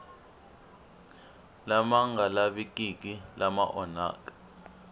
lama nga lavikiki lama onhaka